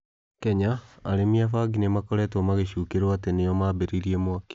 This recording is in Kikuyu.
Kenya: Arĩmi a bangi nĩ makoretwo mangĩĩcukĩrũo atĩ nĩo mambĩrĩria mwaki.